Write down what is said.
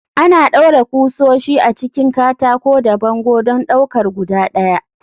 Ana ɗaure ƙusoshi a cikin katako da bango don ɗaukar guda ɗaya.